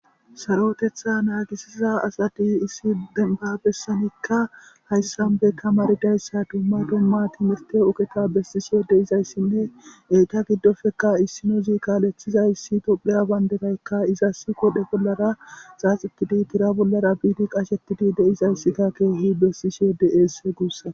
sarotetha naagisiza asadi issi denba bessanikka hayssanbe ka maridayssa dumma domma timirte uketa bessishiyode izayssinne eyta giddofeka issinozi kaalethizayssi topheya bayndetaykka izasi kodhe bollara xaaxitidi tira bollara biidi qashetidi deizayssikka keehi bessishi yode eesse guussa